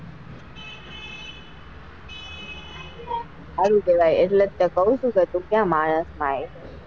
સારું કેવાય એટલે જ તો કઉં જ છું કે તું ક્યાં માનસ માં આવે.